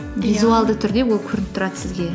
түрде ол көрініп тұрады сізге